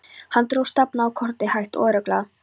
Hann dró stafina á kortið hægt og örugglega.